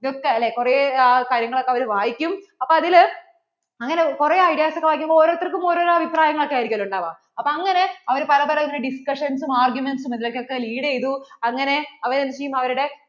ഇതൊക്കെ കുറേ കാര്യങ്ങൾ ഒക്കെ അവരു വായിക്കും അപ്പോൾ അതിൽ അങ്ങനെ കുറേ ideas ഒക്കെ വായിക്കുമ്പോൾ ഓരോരുത്തർക്കും ഓരോരോ അഭിപ്രായങ്ങള്‍ ആയിരിക്കില്ലല്ലോ ഉണ്ടാവുവ അപ്പോൾ അങ്ങനെ അവർ പല പല discussions arguments ഇതിൽ ഒക്കെ lead ചെയ്തു അങ്ങനെ അവർ എന്ത് ചെയ്യും അവരുടെ